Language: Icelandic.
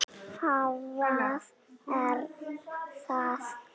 Hvað er það þá?